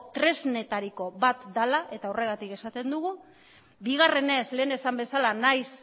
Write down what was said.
tresnetariko bat dela eta horregatik esaten dugu bigarrenez lehen esan bezala nahiz